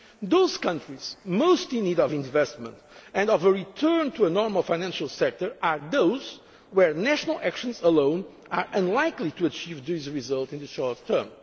to break. Those countries most in need of investment and of a return to a normal financial sector are those where national actions alone are unlikely to achieve this result in the